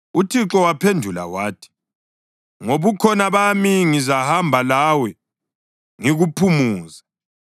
UThixo waphendula wathi, “NgoBukhona bami ngizahamba lawe ngikuphumuze.”